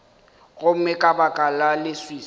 gomme ka baka la leswiswi